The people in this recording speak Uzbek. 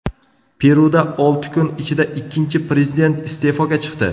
Peruda olti kun ichida ikkinchi prezident iste’foga chiqdi.